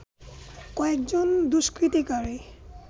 কয়েকজন দুষ্কৃতিকারী